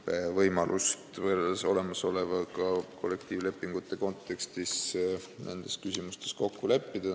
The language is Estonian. See seadus ei piira olemasolevaga võrreldes kollektiivlepingute kontekstis nendes küsimustes kokkuleppimist.